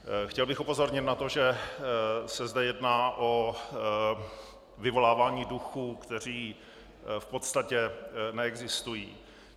Chtěl bych upozornit na to, že se zde jedná o vyvolávání duchů, kteří v podstatě neexistují.